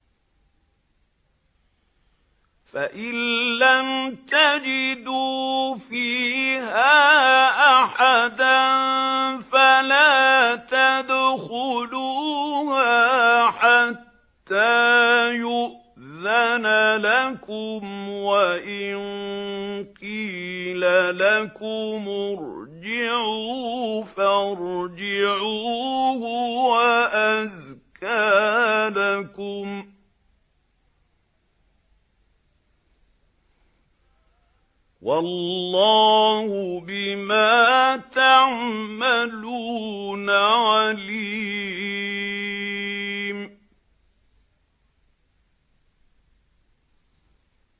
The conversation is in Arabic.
فَإِن لَّمْ تَجِدُوا فِيهَا أَحَدًا فَلَا تَدْخُلُوهَا حَتَّىٰ يُؤْذَنَ لَكُمْ ۖ وَإِن قِيلَ لَكُمُ ارْجِعُوا فَارْجِعُوا ۖ هُوَ أَزْكَىٰ لَكُمْ ۚ وَاللَّهُ بِمَا تَعْمَلُونَ عَلِيمٌ